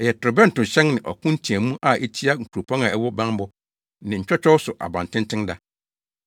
ɛyɛ ntorobɛntohyɛn ne ɔko nteɛmu a etia nkuropɔn a ɛwɔ bammɔ ne ntwɔtwɔw so abantenten da.